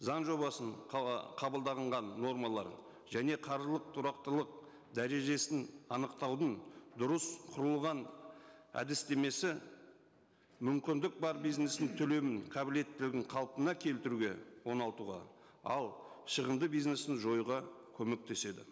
заң жобасын қабылданған нормалар және қаржылық тұрақтылық дәрежесін анықтаудың дұрыс құрылған әдістемесі мүмкіндік бар бизнестің төлемін қабілеттілігін қалпына келтіруге оңалтуға ал шығымды бизнесін жоюға көмектеседі